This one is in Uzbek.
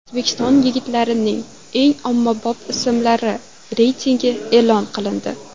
O‘zbek yigitlarining eng ommabop ismlari reytingi e’lon qilindi.